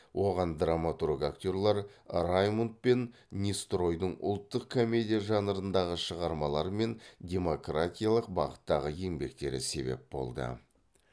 оған драматург актерлер раймунд пен нестройдың ұлттық комедия жанрындағы шығармалары мен демократиялық бағыттағы еңбектері себеп болды